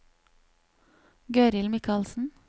Gøril Michaelsen